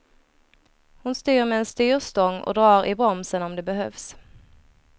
Hon styr med en styrstång och drar i bromsen om det behövs.